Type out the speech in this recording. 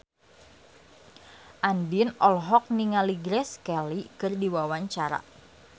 Andien olohok ningali Grace Kelly keur diwawancara